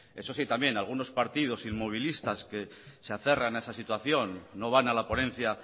eso sí también algunos partidos inmovilitas que se aferran a esa situación no van a la ponencia